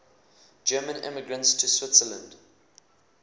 german immigrants to switzerland